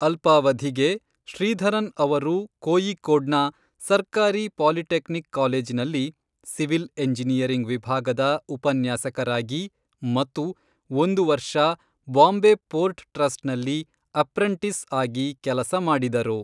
ಅಲ್ಪಾವಧಿಗೆ, ಶ್ರೀಧರನ್ ಅವರು ಕೋಯಿಕ್ಕೋಡ್ನ ಸರ್ಕಾರಿ ಪಾಲಿಟೆಕ್ನಿಕ್ ಕಾಲೇಜಿನಲ್ಲಿ ಸಿವಿಲ್ ಎಂಜಿನಿಯರಿಂಗ್ ವಿಭಾಗದ ಉಪನ್ಯಾಸಕರಾಗಿ ಮತ್ತು ಒಂದು ವರ್ಷ ಬಾಂಬೆ ಪೋರ್ಟ್ ಟ್ರಸ್ಟ್ನಲ್ಲಿ ಅಪ್ರೆಂಟಿಸ್ ಆಗಿ ಕೆಲಸ ಮಾಡಿದರು.